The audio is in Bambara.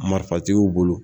Marifatigiw bolo